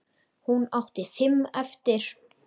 Hún átti fimm eftir.